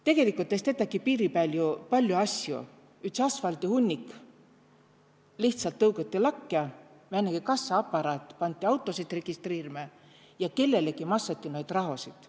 Tegelikult es tetägi piiri pääl ju palju asju, üts asfaldihunnik lihtsalt tõugati lakkõ, määnegi kassaaparaat pandi autosid registreerima ja kellelegi massõti noid rahasid.